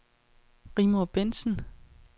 Rigmor Bentsen